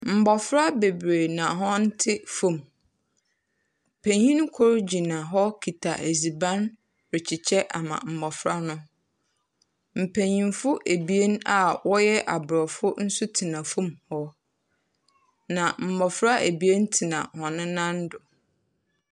Mmɔfra bebiree na wɔte fam. Pinyin kor gyina hɔ kita edzubanrekyekyɛ ama mmɔfra no. Mpenyimfo ebien a wɔyɛ Aborɔfo nso tena fam wɔ hɔ. na mmɔfra ebien teha hɔn nan go.